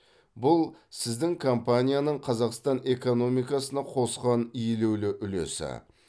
бұл сіздің компанияның қазақстан экономикасына қосқан елеулі үлесі